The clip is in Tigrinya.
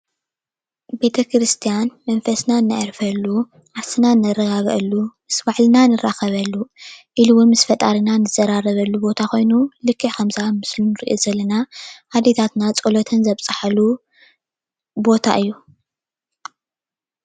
ቤተክርስትያን መንፈስና እነዕረፈሉ ዓርስና እንረጋገዐሉ ምስ ባዕልና እንረካበሉን ኢሉ እንውን ምስ ፈጣሪና እንዘራረበሉን ቦታ ኮይኑ ልክዕ ከምዚ ኣብ ምስሊ እንሪኦ ዘለና አዴታትና ፆለተን ዘብፃሓሉ ቦታ እዩ፡፡